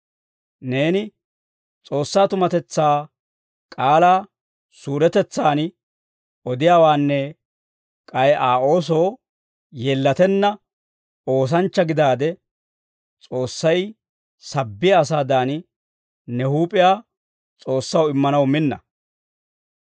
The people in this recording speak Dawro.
Neeni S'oossaa tumatetsaa k'aalaa suuretetsaan odiyaawaanne k'ay Aa oosoo yeellatenna oosanchcha gidaade, S'oossay sabbiyaa asaadan, ne huup'iyaa S'oossaw immanaw minna.